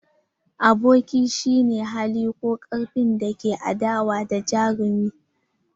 Abokin shi ne hali ko karfin da ke adawa da jarumin.